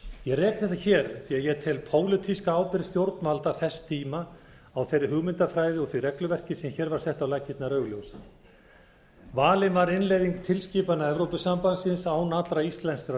rek þetta hér því ég tel pólitíska ábyrgð stjórnvalda þess tíma á þeirri hugmyndafræði og því regluverki sem hér var sett á laggirnar augljósa valin var innleiðing til skipana evrópusambandsins án allra íslenskra